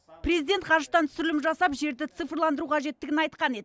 президент ғарыштан түсірілім жасап жерді цифрландыру қажеттігін айтқан еді